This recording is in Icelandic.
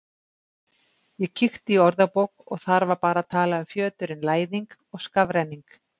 Ég kíkti í orðabók og þar var bara talað um fjöturinn Læðing og skafrenning.